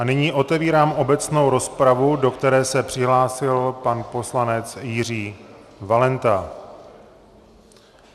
A nyní otevírám obecnou rozpravu, do které se přihlásil pan poslanec Jiří Valenta.